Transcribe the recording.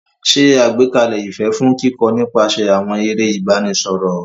Ṣe àgbékalẹ̀ ìfẹ́ fún kíkọ́ nípasẹ̀ àwọn eré ìbánisọ̀rọ̀.